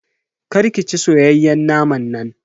Kar ki ci soyayyen naman nan.